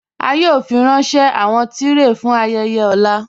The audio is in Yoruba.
A yòò fírànṣẹ̀ awọn tìrẹé fún ayéyè ọ̀là